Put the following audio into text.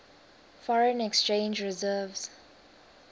foreign exchange reserves